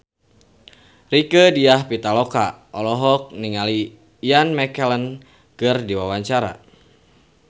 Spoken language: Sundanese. Rieke Diah Pitaloka olohok ningali Ian McKellen keur diwawancara